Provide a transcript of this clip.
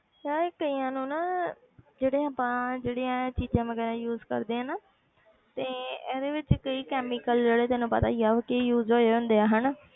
ਯਾਰ ਕਈਆਂ ਨੂੰ ਨਾ ਜਿਹੜੇ ਆਪਾਂ ਜਿਹੜੇ ਇਹ ਚੀਜ਼ਾ ਵਗ਼ੈਰਾ use ਕਰਦੇ ਹਾਂ ਨਾ ਤੇ ਇਹਦੇ ਵਿੱਚ ਕਈ chemical ਜਿਹੜੇ ਤੈਨੂੰ ਪਤਾ ਹੀ ਆ ਕਿ use ਹੋਏ ਹੁੰਦੇ ਆ ਹਨਾ।